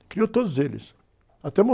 Criou todos eles, até